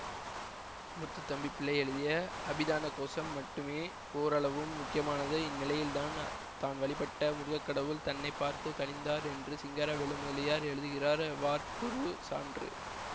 முத்துத்தம்பிப்பிள்ளை எழுதிய அபிதானகோசம் மட்டுமே ஓரளவும் முக்கியமானது இந்நிலையில் தான் தான் வழிபட்ட முருகக் கடவுள் தன்னை பார்த்து கனிந்தார் என்று சிங்காரவேலு முதலியார் எழுதுகிறார் வார்ப்புருசான்று